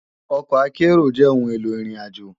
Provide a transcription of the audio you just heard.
Òkò àkèéró jè óoùn éló irin àjó